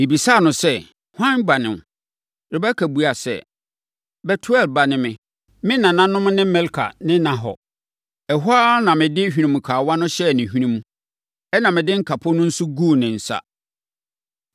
“Mebisaa no sɛ, ‘Hwan ba ne wo?’ “Rebeka buaa sɛ, ‘Betuel ba ne me. Me nananom ne Milka ne Nahor.’ “Ɛhɔ ara na mede hwenemukawa no hyɛɛ ne hwenemu, ɛnna mede nkapo no nso guu ne nsa.